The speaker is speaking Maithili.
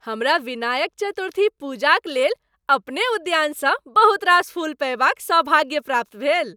हमरा विनायक चतुर्थी पूजाक लेल अपने उद्यानसँ बहुत रास फूल पएबाक सौभाग्य प्राप्त भेल।